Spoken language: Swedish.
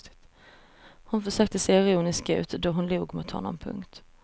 Hon försökte se ironisk ut då hon log mot honom. punkt